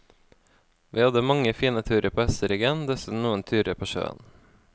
Vi hadde mange fine turer på hesteryggen, dessuten noen turer på sjøen.